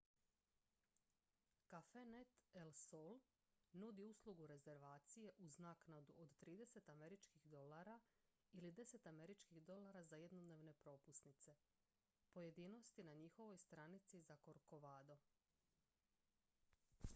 cafenet el sol nudi uslugu rezervacije uz naknadu od 30 američkih dolara ili 10 američkih dolara za jednodnevne propusnice pojedinosti na njihovoj stranici za corcovado